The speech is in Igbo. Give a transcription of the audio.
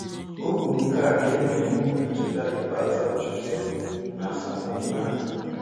Ọ kwuru nke a ka e mere emume ncheta ikpeazụ Achụzịa n'Asaba ụnyaahụ.